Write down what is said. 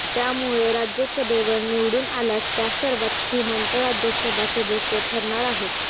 त्यामुळे राज्यसभेवर निवडून आल्यास त्या सर्वात श्रीमंत राज्यसभा सदस्य ठरणार आहेत